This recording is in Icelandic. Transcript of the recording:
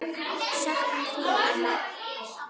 Söknum þín, amma.